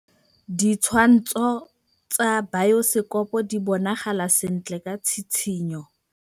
Ditshwantshô tsa biosekopo di bonagala sentle ka tshitshinyô.